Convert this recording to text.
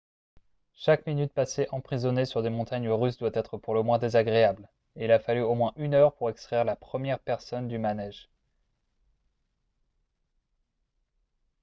chaque minute passée emprisonné sur des montagnes russes doit être pour le moins désagréable et il a fallu au moins une heure pour extraire la première personne du manège. »